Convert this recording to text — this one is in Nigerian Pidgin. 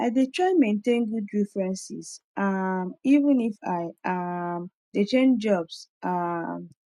i dey try maintain good references um even if i um dey change jobs um